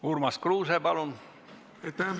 Urmas Kruuse, palun!